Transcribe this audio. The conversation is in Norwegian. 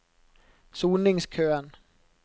soningskøen